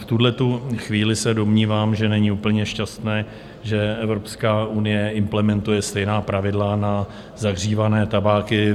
V tuhletu chvíli se domnívám, že není úplně šťastné, že EU implementuje stejná pravidla na zahřívané tabáky.